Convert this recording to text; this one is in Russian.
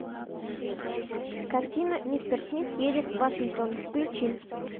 картина мистер смит едет в вашингтон включи